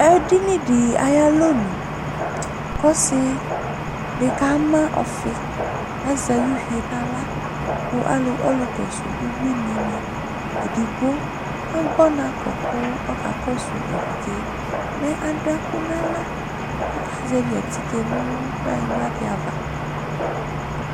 ɛdinidi ɑyalonu ku ɔsidi kɑma ɔfi ɑze ɑyuvienahlaku ɔlukɔsu ubuini ɑkpo ɔnakɔ kɑkɔsu ɛvidze mɛ ɑdueku nɑhla ɔkazevi ɑkazevi ɑtike nukplanyigba diava